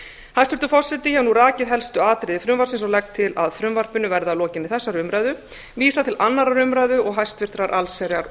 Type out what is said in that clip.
hæstvirtur forseti ég hef nú rakið helstu atriði frumvarpsins og legg til að frumvarpinu verði að lokinni þessari umræðu vísað til annarrar umræðu og háttvirtrar allsherjar